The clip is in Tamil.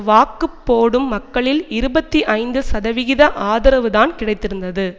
வாக்கு போடும் மக்களில் இருபத்தி ஐந்து சதவிகித ஆதரவுதான் கிடைத்திருந்தது